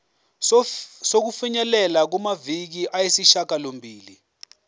sokufinyelela kumaviki ayisishagalombili